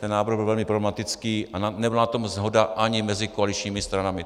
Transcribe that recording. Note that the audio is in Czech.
Ten návrh byl velmi problematický a nebyla na tom shoda ani mezi koaličními stranami.